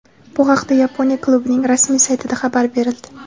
Bu haqda Yaponiya klubining rasmiy saytida xabar berildi .